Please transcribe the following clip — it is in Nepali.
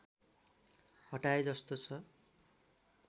हटाए जस्तो छ